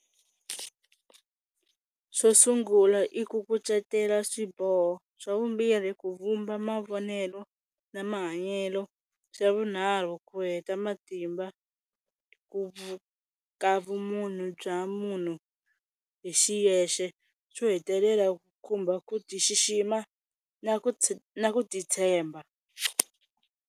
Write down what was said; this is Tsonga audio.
Xo sungula i ku kucetela swiboho, xa vumbirhi ku vumba mavonelo na mahanyelo, xa vunharhu ku heta matimba ku ka vumunhu bya munhu hi xiyexe, xo hetelela ku khumba ku ti xixima na ku na ku titshemba.